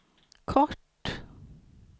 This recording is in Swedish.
kort